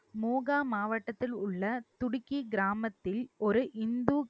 மூகா மாவட்டத்தில் உள்ள துடிக்கி கிராமத்தில் ஒரு இந்து